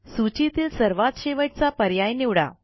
सूचीतील सर्वात शेवटचा पर्याय निवडा